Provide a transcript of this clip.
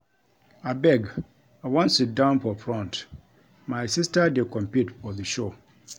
Abeg I wan sit down for front my sister dey compete for the show